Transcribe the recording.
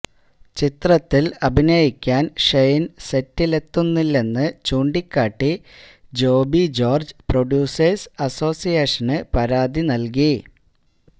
ചിത്രത്തിൽ അഭിനയിക്കാൻ ഷ െയിൻ സെറ്റിലെത്തുന്നില്ലെന്ന് ചൂണ്ടിക്കാട്ടി ജോബി ജോര്ജ് പ്രൊഡ്യൂസേഴ്സ് അസോസിയേഷന് പരാതി നൽകി